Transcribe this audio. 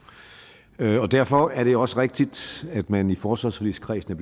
derfor er det også rigtigt at man i forsvarsforligskredsen